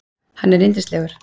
Hann er yndislegur.